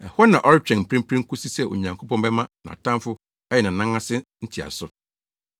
Ɛhɔ na ɔretwɛn mprempren kosi sɛ Onyankopɔn bɛma nʼatamfo ayɛ nʼanan ase ntiaso.